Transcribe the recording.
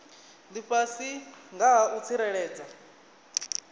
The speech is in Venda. lifhasi nga ha u tsireledza